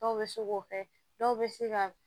Dɔw bɛ se k'o kɛ dɔw bɛ se ka